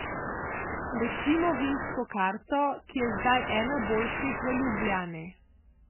Recimo vinsko karto, ki je zdaj ena boljših v Ljubljani.